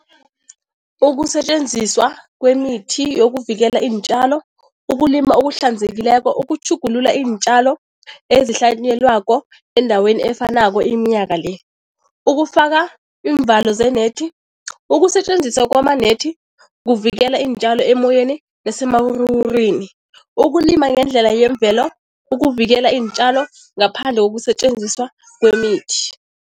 Ukusetjenziswa kwemithi yokuvikela iintjalo, ukulima okuhlanzekileko, ukutjhugulula iintjalo ezihlanyelwako endaweni efanako iminyaka le. Ukufaka iimvalo ze-net, ukusetjenziswa kwama-net kuvikela iintjalo emoyeni nasemawuruwurwini, ukulima ngendlela yemvelo, ukuvikela iintjalo ngaphandle kokusetjenziswa kwemithi.